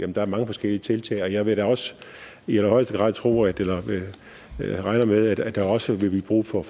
der er mange forskellige tiltag og jeg vil da også i allerhøjeste grad tro og regner med at der også vil blive brug for